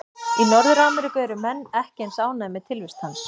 Í Norður-Ameríku eru menn ekki eins ánægðir með tilvist hans.